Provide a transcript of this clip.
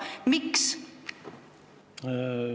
Miks?